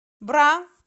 бра